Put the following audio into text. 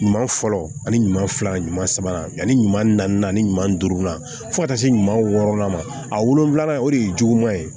Ɲuman fɔlɔ ani ɲuman fila ɲuman saba yanni ɲuman naani duuru fo ka taa se ɲuman wɔɔrɔnan ma a wolonfila o de ye juguman ye